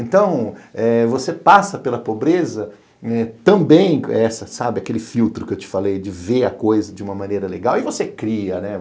Então, eh você passa pela pobreza eh também, sabe aquele filtro que eu te falei, de ver a coisa de uma maneira legal e você cria, né?